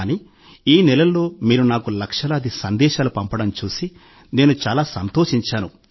కానీ ఈ నెలల్లో మీరు నాకు లక్షలాది సందేశాలు పంపడం చూసి నేను చాలా సంతోషించాను